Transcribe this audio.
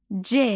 C.